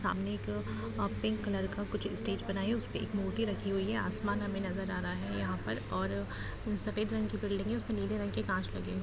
सामने एक pink colour का कुछ स्टेज बना है उस पे एक मूर्ति रखी हुई है आसमान हमें नजर आ रहा है यहाँ पर और सफेद रंग की बिल्डिंग है उसमें नीले रंग के कांच लगे हु --